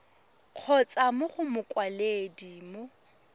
kgotsa mo go mokwaledi mo